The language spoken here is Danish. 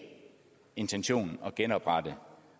intentionen at genoprette